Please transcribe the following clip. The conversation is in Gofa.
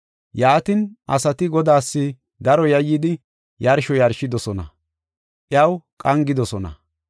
Yaatin asati Godaas daro yayyidi yarsho yarshidosona; iyaw qangidosona.